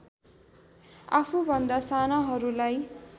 आफूभन्दा सानाहरूलाई